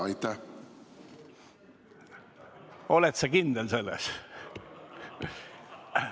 Oled sa selles kindel?